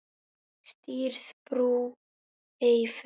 Stirð í brú ei fer.